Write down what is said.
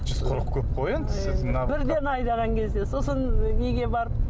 жүз қырық көп қой енді бірден айдаған кезде сосын неге барып